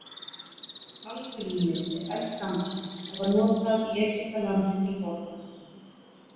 Algrímið er eldgamalt og var notuð í Egyptalandi til forna.